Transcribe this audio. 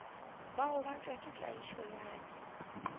bagobatšwa ba tlaišo ya ka